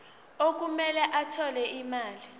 okumele athole imali